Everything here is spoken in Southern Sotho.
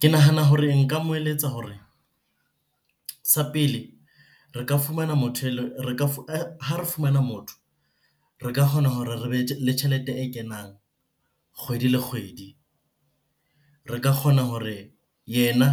Ke nahana hore nka mo eletsa hore, sa pele re ka fumana motho ha re fumana motho, re ka kgona hore re be le tjhelete e kenang kgwedi le kgwedi. Re ka kgona hore yena